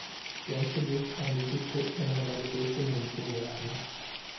Ganske vist er han ikke køn, men han er det bedste menneske i verden.